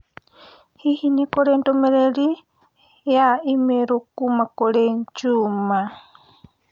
Hihi nĩ kũrĩ ndũmĩrĩri ya i-mīrū kuuma kũrĩ Juma?